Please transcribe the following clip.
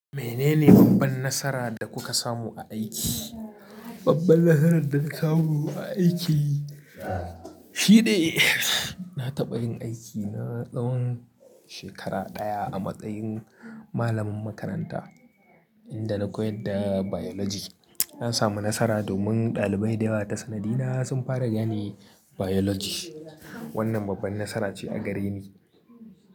Menene babban nasara da kuka samu a aiki? Babban nasarar da na samu a aiki shi ne na taɓa yin aiki na tsawon shekara ɗaya a matsayin malamin makaranta inda na koyad da Biology. Na samu nasara domin ɗalibai da yawa ta sanadina sun fara gane Biology. Wannan babban nasara ce a gare ni.